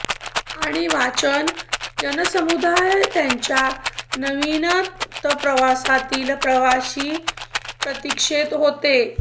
आणि वाचन जनसमुदाय त्याच्या नवीनतम प्रवासातील प्रवासी प्रतीक्षेत होते